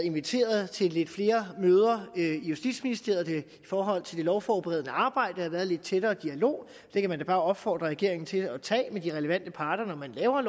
inviteret til lidt flere møder i justitsministeriet i forhold til det lovforberedende arbejde og at været lidt tættere dialog det kan man da bare opfordre regeringen til at tage med de relevante parter når man laver